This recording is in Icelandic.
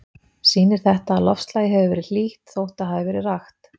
Sýnir þetta, að loftslagið hefur verið hlýtt, þótt það hafi verið rakt.